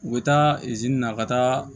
U bɛ taa na ka taa